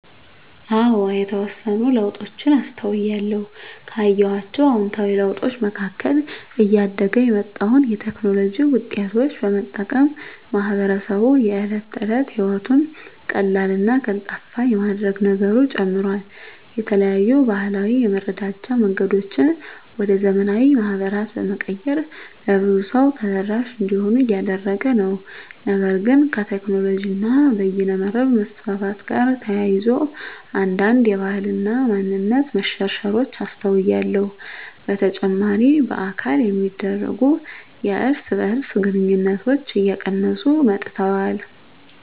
አዎ የተወሰኑ ለውጦችን አስተውያለሁ። ካየኋቸው አዉንታዊ ለውጦች መካከል እያደገ የመጣውን የቴክኖሎጂ ዉጤቶች በመጠቀም ማህበረሰቡ የእለት ተለት ህይወቱን ቀላልና ቀልጣፋ የማድረግ ነገሩ ጨምሯል። የተለያዩ ባህላዊ የመረዳጃ መንገዶችን ወደ ዘመናዊ ማህበራት በመቀየር ለብዙ ሰው ተደራሽ እንዲሆኑ እያደረገ ነው። ነገር ግን ከቴክኖሎጂ እና በይነመረብ መስፋፋት ጋር ተያይዞ አንዳንድ የባህል እና ማንነት መሸርሸሮች አስተውያለሁ። በተጨማሪ በአካል የሚደረጉ የእርስ በእርስ ግንኙነቶች እየቀነሱ መጥተዋል።